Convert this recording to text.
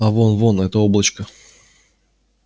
а вон вон это облачко